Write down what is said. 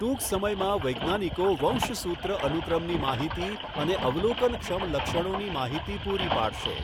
ટૂંક સમયમાં, વૈજ્ઞાનિકો વંશસૂત્ર અનુક્રમની માહિતી અને અવલોકનક્ષમ લક્ષણોની માહિતી પૂરી પાડશે.